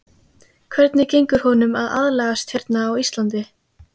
Hvernig gengur honum að aðlagast hérna á Íslandi?